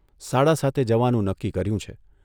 સાડા સાતે જવાનું નક્કી કર્યું છે.